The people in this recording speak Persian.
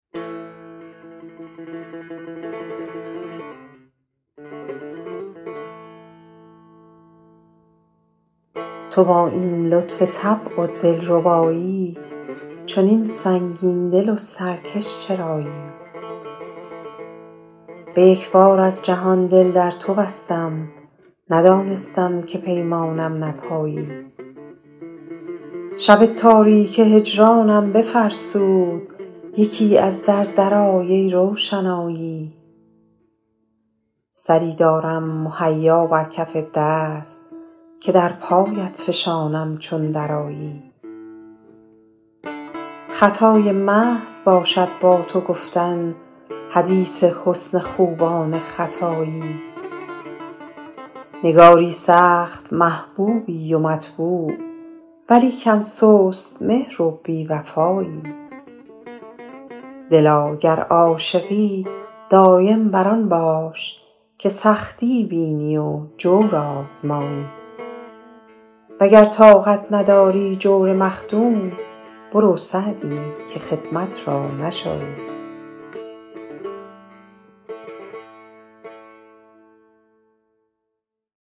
تو با این لطف طبع و دل ربایی چنین سنگین دل و سرکش چرایی به یک بار از جهان دل در تو بستم ندانستم که پیمانم نپایی شب تاریک هجرانم بفرسود یکی از در درآی ای روشنایی سری دارم مهیا بر کف دست که در پایت فشانم چون درآیی خطای محض باشد با تو گفتن حدیث حسن خوبان ختایی نگاری سخت محبوبی و مطبوع ولیکن سست مهر و بی وفایی دلا گر عاشقی دایم بر آن باش که سختی بینی و جور آزمایی و گر طاقت نداری جور مخدوم برو سعدی که خدمت را نشایی